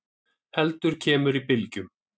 heldur kemur í bylgjum.